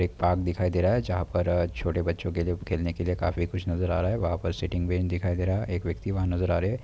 एक पार्क दिखाई दे रहा है। जहाँ पर छोटे बच्चों के खेलने के लिए काफी कुछ नजर आ रहा है। वहाँ पर सिटिंग बेंच दिखाई दे रहा है। एक व्यक्ति वहाँ नजर आ रहे --